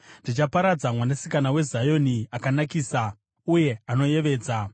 Ndichaparadza mwanasikana weZioni, akanakisa uye anoyevedza.